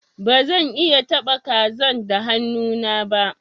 Ba zan iya taba kazan da hannu na ba.